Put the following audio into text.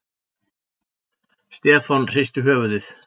Stefán hristi höfuðið.